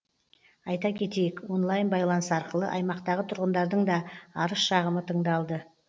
айта кетейік онлайн байланыс арқылы аймақтағы тұрғындардың да арыз шағымы тыңдалды